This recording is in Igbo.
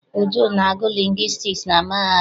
Uju na-agụ lingwistiks na mahadum.